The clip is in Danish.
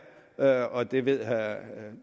er og det ved